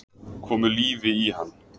Komu lífi í hann